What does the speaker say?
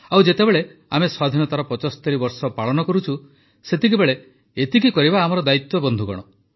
ଆଉ ଯେତେବେଳେ ଆମେ ସ୍ୱାଧୀନତାର ୭୫ ବର୍ଷ ପାଳନ କରୁଛୁ ସେତେବେଳେ ତ ଏତିକି କରିବା ଆମର ଦାୟିତ୍ୱ ବନ୍ଧୁଗଣ